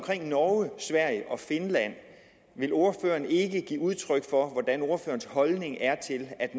i norge sverige og finland vil ordføreren så ikke give udtryk for hvordan ordførerens holdning er til at